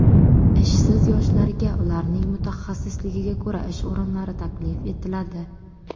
Ishsiz yoshlarga ularning mutaxassisligiga ko‘ra ish o‘rinlari taklif etiladi.